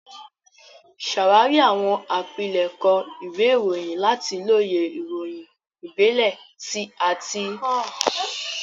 Ṣàwárí àwọn àpilẹ̀kọ ìwé ìròyìn láti lóye ìròyìn ìbílẹ̀ àti àwọn ìṣẹ̀lẹ̀ lọ́wọ́lọ́wọ́.